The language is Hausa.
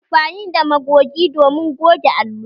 Ana amfanin da Magogi domin goge allo